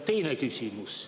Teine küsimus.